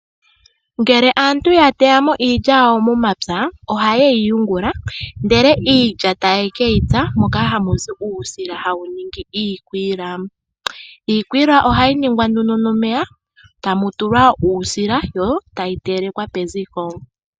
Ngele aantu ya teya mo iilya yawo momapya ohayeyi yungula ndele iilya tayekeyi taye ke tsa ndele taa ningi iikwila iikwila ohayi ningwa ihe nomeya nuusila etayi tulwa peziko.